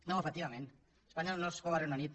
no efectivament espanya no és com el regne unit